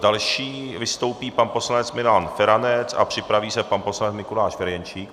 Další vystoupí pan poslanec Milan Feranec a připraví se pan poslanec Mikuláš Ferjenčík.